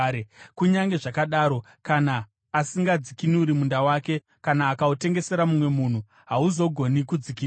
Kunyange zvakadaro, kana asingadzikinuri munda wake, kana akautengesera mumwe munhu, hauzogoni kudzikinurwa.